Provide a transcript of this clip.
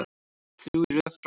Þrjú í röð frá Val.